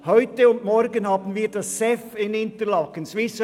Heute und morgen findet das Swiss Economic Forum (SEF) in Interlaken statt.